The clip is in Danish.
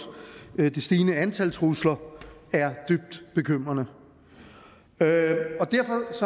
det stigende antal trusler er dybt bekymrende derfor